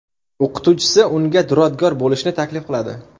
O‘qituvchisi unga duradgor bo‘lishni taklif qiladi.